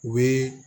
U bɛ